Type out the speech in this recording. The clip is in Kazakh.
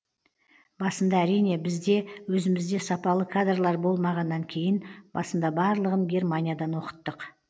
басында әрине бізде өзімізде сапалы кадрлар болмағаннан кейін басында барлығын германиядан оқыттық